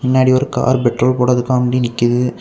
பின்னாடி ஒரு car petrol போடறதுக்காண்டி நிக்குது.